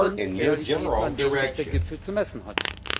Das sind Realitäten, an denen sich der Gipfel zu messen hat.